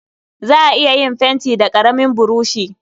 Za a iya yin fenti da ƙaramin buroshi.